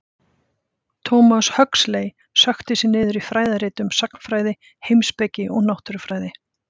Thomas Huxley sökkti sér niður í fræðirit um sagnfræði, heimspeki og náttúrufræði.